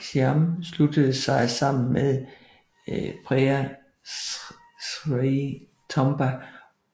Siam sluttede sig sammen med Prea Srey Thomea